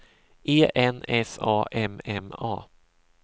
E N S A M M A